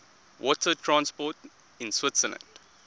water transport in switzerland